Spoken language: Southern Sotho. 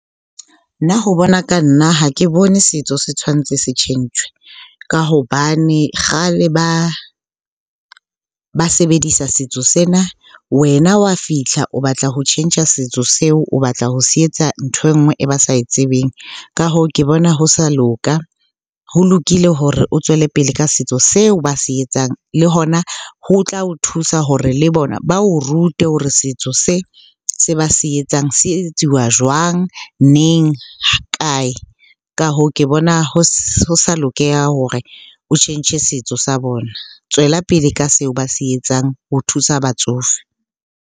Nna ho bona ka nna ha ke bone setso se tshwantse se tjhentjhwe ka hobane kgale ba sebedisa setso sena. Wena wa fihla o batla ho tjhentjha setso seo, o batla ho se etsang ntho e nngwe e ba sa e tsebeng. Ka hoo, ke bona ho sa loka, ho lokile hore o tswele pele ka setso seo ba se etsang. Le hona ho tla o thusa hore le bona ba o rute hore setso se, se ba se etsang se etsuwa jwang? Neng? Kae? Ka hoo, ke bona ho sa lokela hore o tjhentjhe setso sa bona. Tswela pele ka seo ba se etsang ho thusa batsofe.